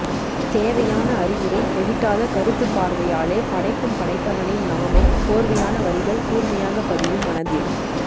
தேவையான அறிவுரை தெவிட்டாத கருத்து பார்வையாலே படைக்கும் படைத்தவனின் நாமம் கோர்வையான வரிகள் கூர்மையாக பதியும் மனதில்